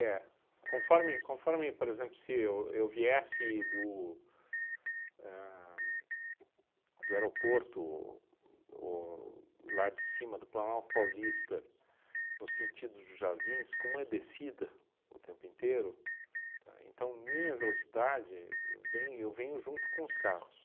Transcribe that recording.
Conforme conforme, por exemplo, se eu eu viesse do ahn do aeroporto ou lá de cima do Planalto Paulista, no sentido dos Jardins, como é descida o tempo inteiro, tá, então minha velocidade, vem eu venho junto com os carros.